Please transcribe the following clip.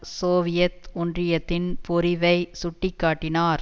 Soviet ஒன்றியத்தின் பொறிவை சுட்டி காட்டினார்